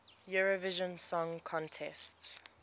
eurovision song contest